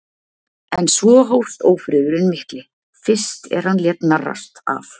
En svo hófst ófriðurinn mikli, fyrst er hann lét narrast af